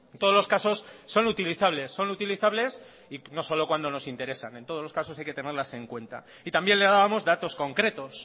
todos los casos son utilizables son utilizables y no solo cuando nos interesan en todos los casos hay que tenerlas en cuenta y también le debamos datos concretos